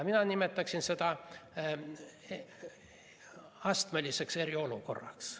Mina nimetaksin seda astmeliseks eriolukorraks.